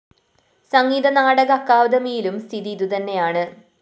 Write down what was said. സംഗീത നാടക അക്കാദമിയിലും സ്ഥിതി ഇതുതന്നെയാണ്